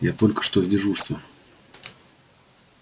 я только что с дежурства